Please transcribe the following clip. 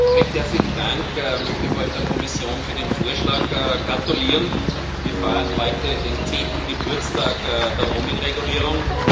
Recht herzlichen Dank. Ich möchte vor allem der Kommission für den Vorschlag gratulieren. Wir feiern heute den zehnten Geburtstag der Roaming-Regulierung.